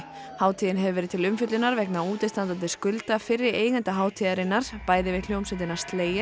hátíðin hefur verið til umfjöllunar vegna útistandandi skulda fyrri eigenda hátíðarinnar bæði við hljómsveitina